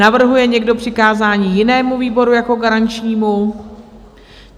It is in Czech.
Navrhuje někdo přikázání jinému výboru jako garančnímu?